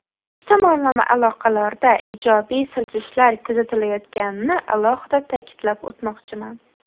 Ikki tomonlama aloqalarda ijobiy siljishlar kuzatilayotganini alohida ta’kidlab o‘tmoqchiman.